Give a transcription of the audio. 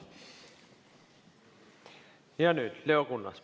Ja nüüd Leo Kunnas.